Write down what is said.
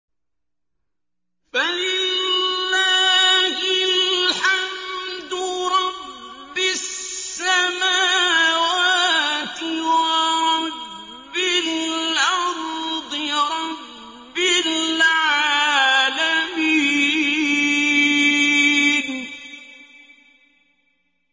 فَلِلَّهِ الْحَمْدُ رَبِّ السَّمَاوَاتِ وَرَبِّ الْأَرْضِ رَبِّ الْعَالَمِينَ